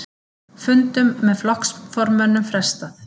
Fundum með flokksformönnum frestað